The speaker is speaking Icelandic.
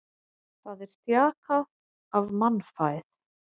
Það er þjakað af mannfæð.